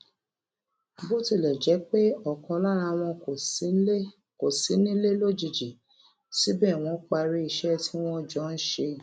bó tilè jé pé òkan lára wọn kò sí nílé lójijì síbè wón parí iṣé tí wón jọ ń ṣe